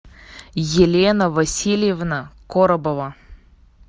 елена васильевна коробова